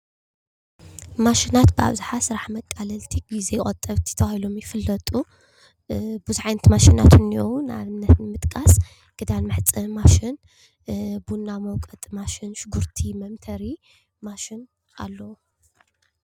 ማሽናት ኣብዝሓ ስራሕ መቃለልቲ ግዜ ቆጠብቲ ተባሂሎም ይፍለጡ፡፡ ብዝሕ ዓይነት ማሽናት እንኤዉ ንኣብነት ንምጥቃስ ክዳን መሕፀቢ ማሽን፣ ቡና መዉቀጢ ማሽን፣ ሽጉርቲ መምተሪ ማሽን ኣለዉ፡፡